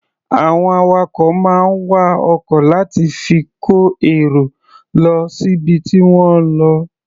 Àwọn awakọ̀ máa ń wa ọkọ̀ láti fi kó èrò lọ síbi tí wọ́n ń lọ.